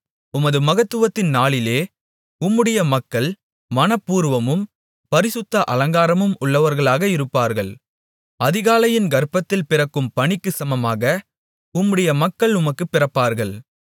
உமது மகத்துவத்தின் நாளிலே உம்முடைய மக்கள் மனப்பூர்வமும் பரிசுத்த அலங்காரம் உள்ளவர்களாக இருப்பார்கள் அதிகாலையின் கர்ப்பத்தில் பிறக்கும் பனிக்குச் சமமாக உம்முடைய மக்கள் உமக்குப் பிறப்பார்கள்